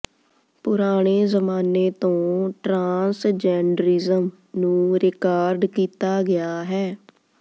ਪੁਰਾਣੇ ਜ਼ਮਾਨੇ ਤੋਂ ਟਰਾਂਸਜੈਂਡਰਿਜ਼ਮ ਨੂੰ ਰਿਕਾਰਡ ਕੀਤਾ ਗਿਆ ਹੈ